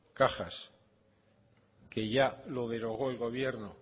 cajas que ya lo derogó el gobierno